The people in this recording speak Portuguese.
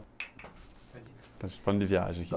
A gente, estava falando de viagem aqui.